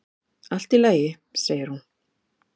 """Allt í lagi, segir hún."""